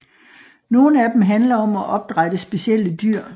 Nogle af dem handler om at opdrætte specielle dyr